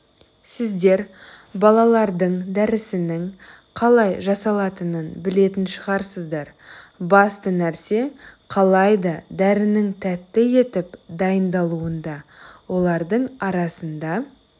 сіздер балалардың дәрісінің қалай жасалатынын білетін шығарсыздар басты нәрсе қалайда дәрінің тәтті етіп дайындалуында олардың арасында